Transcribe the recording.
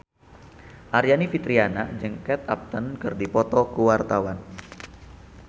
Aryani Fitriana jeung Kate Upton keur dipoto ku wartawan